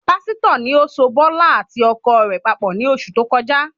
Pásítọ̀ ni ó so bọ́lá àti ọkọ rẹ̀ papọ̀ ni oṣù tó kọjá